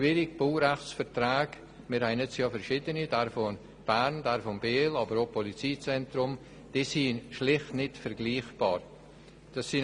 Zum Baurechtsvertrag: Wir haben verschiedene Baurechtsverträge, die schlicht nicht vergleichbar sind.